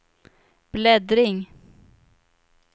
bläddring